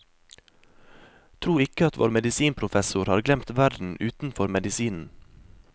Tro ikke at vår medisinprofessor har glemt verden utenfor medisinen.